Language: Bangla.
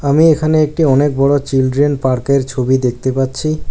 আমি এখানে একটি অনেক বড়ো চিলড্রেন পার্ক -এর ছবি দেখতে পাচ্ছি।